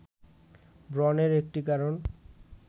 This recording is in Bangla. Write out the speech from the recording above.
ব্রণের একটি কারণ